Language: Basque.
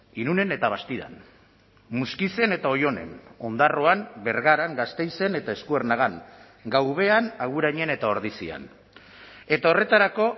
irunen eta bastidan muskizen eta oionen ondarroan bergaran gasteizen eta eskuernagan gaubean agurainen eta ordizian eta horretarako